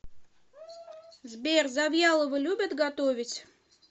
сбер завьялова любит готовить